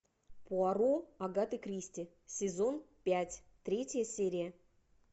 пуаро агаты кристи сезон пять третья серия